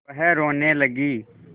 वह रोने लगी